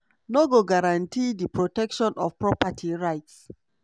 no go guarantee di protection of property rights.